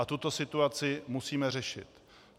A tuto situaci musíme řešit.